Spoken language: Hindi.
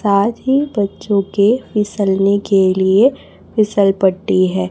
साथ ही बच्चों के फिसलने के लिए फिसल पट्टी है।